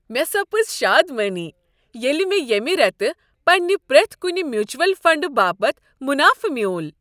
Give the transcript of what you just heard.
مےٚ سپز شادمٲنی ییٚلہ مےٚ ییٚمہ ریتہٕ پنٛنہ پرٛیتھ کنہ میوچول فنڈٕ باپت منافہ میُول۔